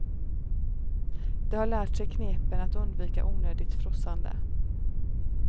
De har lärt sig knepen att undvika onödigt frossande.